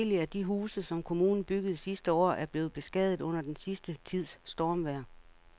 Adskillige af de huse, som kommunen byggede sidste år, er blevet beskadiget under den sidste tids stormvejr.